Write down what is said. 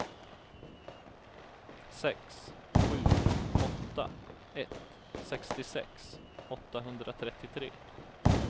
sex sju åtta ett sextiosex åttahundratrettiotre